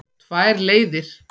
Tvær leiðir.